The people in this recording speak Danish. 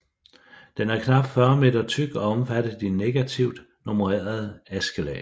Den er knap 40 meter tyk og omfatter de negativt nummererede askelag